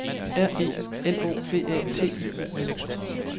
R E N O V A T I O N